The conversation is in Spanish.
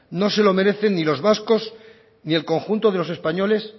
no se lo merecen ni los vascos ni el conjunto de los españoles